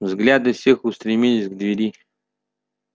взгляды всех устремились к двери